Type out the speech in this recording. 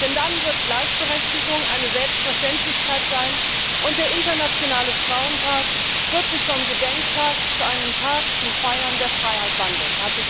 Denn dann wird Gleichberechtigung eine Selbstverständlichkeit sein und der Internationale Frauentag wird sich von einem Gedenktag zu einem Tag zum Feiern der Freiheit wandeln!